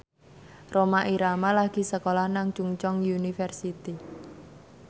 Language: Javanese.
Rhoma Irama lagi sekolah nang Chungceong University